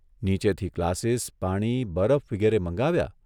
નીચેથી ગ્લાસીસ, પાણી, બરફ વિગેરે મંગાવ્યા